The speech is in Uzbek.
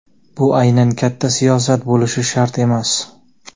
bu aynan katta siyosat bo‘lishi shart emas.